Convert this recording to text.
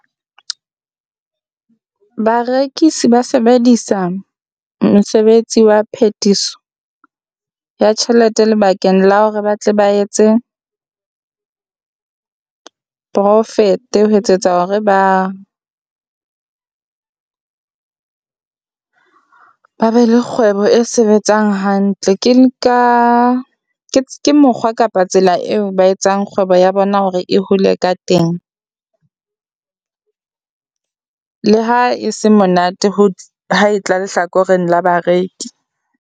Barekisi ba sebedisa mosebetsi wa phethiso ya tjhelete lebakeng la hore ba tle ba etse profit-e, ho etsetsa hore ba ba be le kgwebo e sebetsang hantle. Ke nka ke mokgwa kapa tsela eo ba etsang kgwebo ya bona hore e hole ka teng le ha e se monate ho ha e tla lehlakoreng la bareki.